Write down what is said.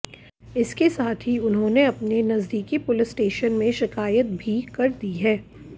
इसके साथ ही उन्होंने अपने नजदीकी पुलिस स्टेशन में शिकायत भी कर दी है